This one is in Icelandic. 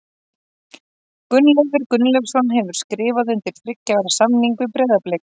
Gunnleifur Gunnleifsson hefur skrifað undir þriggja ára samning við Breiðablik.